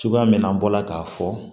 Cogoya min na an bɔra k'a fɔ